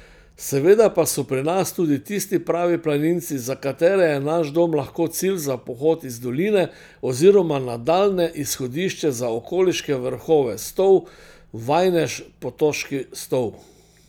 Seveda pa so pri nas tudi tisti pravi planinci, za katere je naš dom lahko cilj za pohod iz doline oziroma nadaljnje izhodišče za okoliške vrhove Stol, Vajnež, Potoški Stol ...